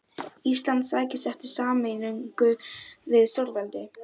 Ari fagnaði þessari fullyrðingu með lófataki.